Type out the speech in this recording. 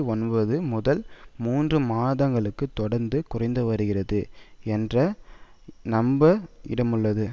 ஒன்பது முதல் மூன்று மாதங்களும் தொடர்ந்து குறைந்துவருகிறது எனற நம்ப இடமுள்ளது